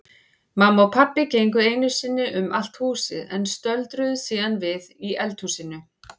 Mamma og pabbi gengu einu sinni um allt húsið en stöldruðu síðan við í eldhúsinu.